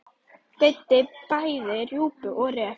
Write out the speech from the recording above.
Veiddi bæði rjúpu og ref.